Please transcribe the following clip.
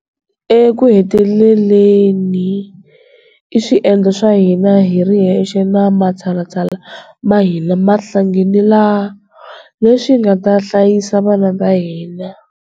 Ekuheteleleni i swiendlo swa hina hi ri hexe na matshalatshala ma hina ma nhlanganelo leswi nga ta hlayisa vana va hina.